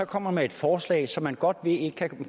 kommer med et forslag som man godt ved